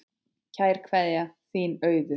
Kær kveðja, þín Auður